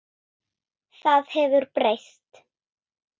Það hefur breyst.